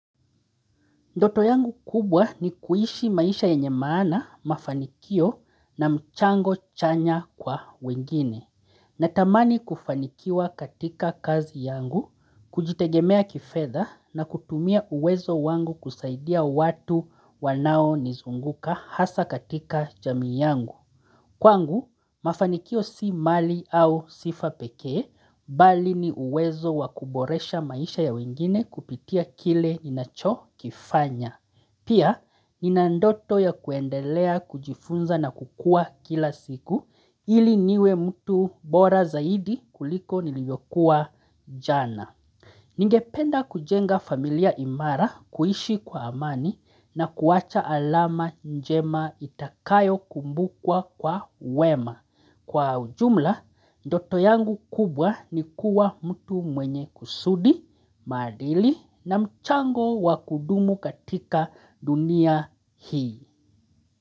Ndoto yangu kubwa ni kuhishi maisha yenye maana mafanikio na mchango chanya kwa wengine. Natamani kufanikiwa katika kazi yangu, kujitegemea kifedha na kutumia uwezo wangu kusaidia watu wanao nizunguka hasa katika jamii yangu. Kwangu, mafanikio si mali au sifa pekee, bali ni uwezo wakuboresha maisha ya wengine kupitia kile inacho kifanya. Pia ni nandoto ya kuendelea kujifunza na kukua kila siku ili niwe mtu bora zaidi kuliko niliyokuwa jana. Ningependa kujenga familia imara kuishi kwa amani na kuwacha alama njema itakayo kumbukwa kwa wema. Kwa ujumla, doto yangu kubwa ni kuwa mtu mwenye kusudi, maadili na mchango wakudumu katika dunia hii.